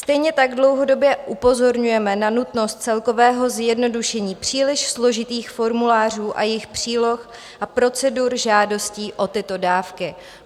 Stejně tak dlouhodobě upozorňujeme na nutnost celkového zjednodušení příliš složitých formulářů a jejich příloh a procedur žádostí o tyto dávky.